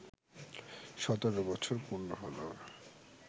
সতেরো বছর পূর্ণ হলো